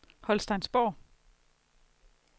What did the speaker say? Holsteinsborg